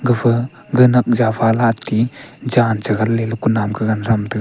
gafa ga nak ja pha le atti jan cha gan le ley kunam ke gan tham taga.